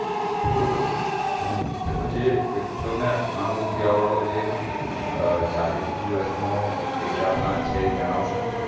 પેલું હમ પેલું જે એકસોને અઠાણું વાળું જે ચાલીસ દિવસ નો data plan છે એ જણાવશો ને